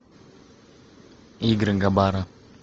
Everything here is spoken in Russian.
игры габара